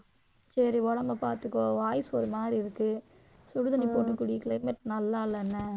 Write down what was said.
சரி உடம்பைப் பாத்துக்கோ voice ஒரு மாதிரி இருக்கு. சுடுதண்ணி போட்டுக் குடி climate நல்லா இல்ல என்ன